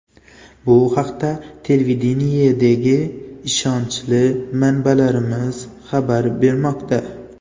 Bu haqda televideniyedagi ishonchli manbalarimiz xabar bermoqda.